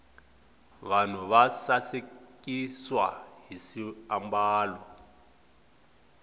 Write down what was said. vanhu va sasikiswa hi swiambalo